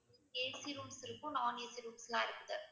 AC rooms இருக்கும், non AC rooms லாம் இருக்கு